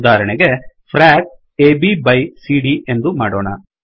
ಉದಾಹರಣೆಗೆ dollar frac frac A B by ಬೈC D ಎಂದು ಮಾಡೋಣ